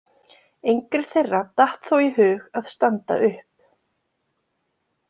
Engri þeirra datt þó í hug að standa upp.